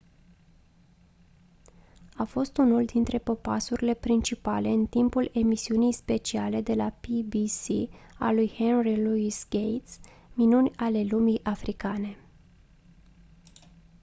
a fost unul dintre popasurile principale în timpul emisiunii speciale de la pbs a lui henry louis gates minuni ale lumii africane